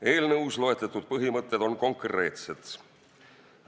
Eelnõus loetletud põhimõtted on konkreetsed.